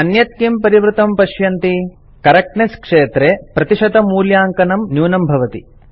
अन्यत् किं परिवृतं पश्यन्ति करेक्टनेस क्षेत्रे प्रतिशतमूल्याङ्कनं न्यूनं भवति